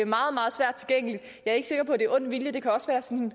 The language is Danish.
meget meget svært tilgængeligt jeg er ikke sikker på det ond vilje det kan også være sådan